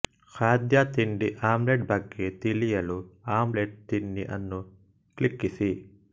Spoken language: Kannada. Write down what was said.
ಖಾದ್ಯ ತಿಂಡಿ ಆಮ್ಲೆಟ್ ಬಗ್ಗೆ ತಿಳಿಯಲು ಆಮ್ಲೆಟ್ ತಿಂಡಿ ಅನ್ನು ಕ್ಲಿಕ್ಕಿಸಿ